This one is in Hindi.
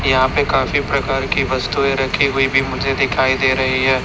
यहा पे काफी प्रकार की वस्तुएं रखी हुए भी मुझे दिखाई दे रहीं हैं।